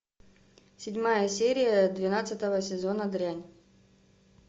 седьмая серия двенадцатого сезона дрянь